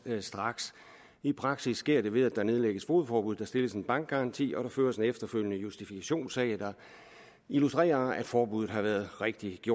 straks i praksis sker det ved at der nedlægges fogedforbud der stilles en bankgaranti og føres en efterfølgende justifikationssag der illustrerer at forbuddet har været rigtigt